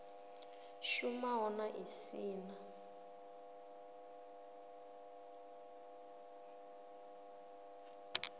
shumaho na i si na